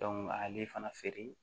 ali fana feere